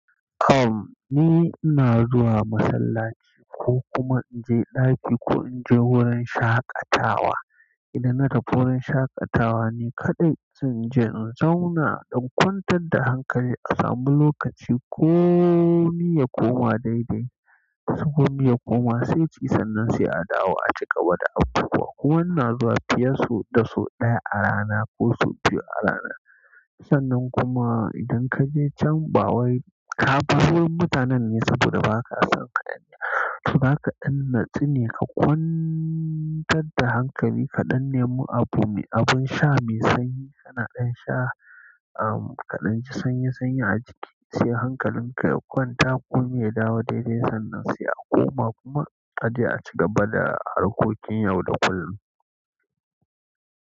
Tom ni ina zuwa masallaci ko kuma in je ɗaki ko in je wurin shaƙatawa. Idan na tafi wurin shaƙatawa ne kaɗai zan je in zauna don kwantar da hankali, a sami lokaci komi ya koma daidai. Komi ya koma sai ti sannan sai a dawo a ci gaba da abubuwa. Wani na zuwa fiye da sau ɗaya a rana ko sau biyu a rana sannan kuma idan ka je can, ba wai ka bar wurin mutanen ne saboda ba ka son kaya. Saura kaɗan, natsine ka kwantar da hankali kaɗan, nemi abu mai, abun sha mai sanyi, sana'an sha, ah, kaɗan ci sanyi sanyi a jiki sai hankalin ka ya kwanta kuma ya dawo daidai. Sannan sai a koma kuma ka je a ci gaba da harkokin yau da kullum.